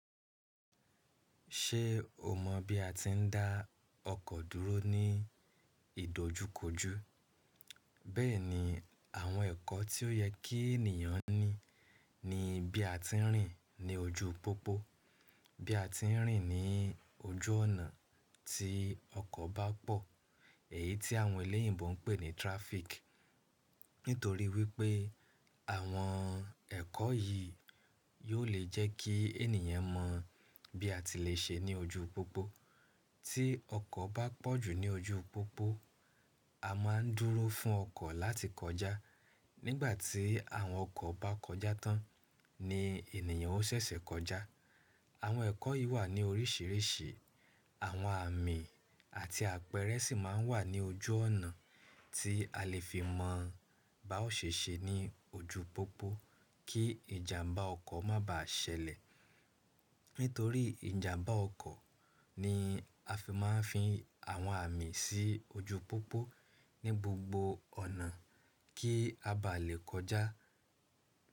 Ṣé o mọ̀ bí a ti ń dá ọkọ̀ dúró ní ìdojúkojú? Bẹ́ẹ̀ni, àwọn ẹ̀kọ́ tí ó yẹ kí ènìyàn ní ni bí a ti ń rìn ní ojú pópó, bí a ti ń rìn ní ojú ọ̀nà tí ọkọ̀ bá pọ̀, èyí tí àwọn eléyìbó ń pè ní tirafiki. Nítorí wípé àwọn ẹ̀kọ́ yìí yóò lè jẹ́ kí ènìyàn mọ̀ bí a ti lè ṣe ní ojú pópó. Tí ọkọ̀ bá pọ̀ jù ní ojú pópó, a máa ń dúró fún ọkọ̀ láti kọjá. Nígbà tí àwọn ọkọ̀ bá kọjá tán ni ènìyàn ó ṣẹ̀ṣẹ̀ kọjá. Àwọn ẹ̀kọ́ yìí wà ní oríṣìíríṣìí, àwọn àmin àti àpẹẹrẹ sì máa ń wà ní ojú ọ̀nà tí a lè fi mọ̀ bá ò ṣe ṣe ní ojú pópó kí ìjàmbá ọkọ̀ má bàá ṣẹlẹ̀. Nítorí ìjàmbá ọkọ̀ ni a fi máa ń fi àwọn àmìn sí ojú pópó ní gbogbo ọ̀nà kí a bá lè kọjá.